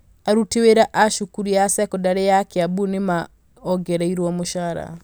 aruti wĩra a cukuru ya sekondarĩ ya Kiambu nĩ maongererũo mũcara